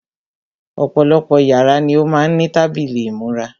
Ọ̀pọ̀lọpọ̀ yàrá ni ó má ń ní tábìlì ìmúra.